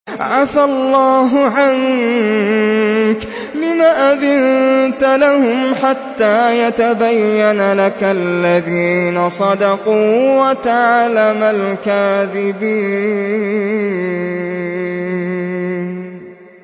عَفَا اللَّهُ عَنكَ لِمَ أَذِنتَ لَهُمْ حَتَّىٰ يَتَبَيَّنَ لَكَ الَّذِينَ صَدَقُوا وَتَعْلَمَ الْكَاذِبِينَ